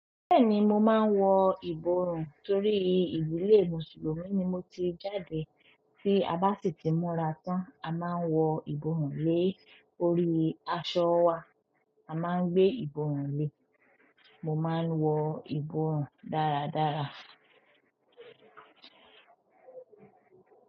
Bẹ́ẹ̀ni, mo máa ń wọ ìborùn torí ìdilẹ̀ Mùsùlùmí ni mo ti jáde. Tí a bá sì ti múra tán, a máa ń wọ ìborùn lé orí aṣọ wa. A maa gbe iborun le. Mo máa ń wọ ìborùn dáradára.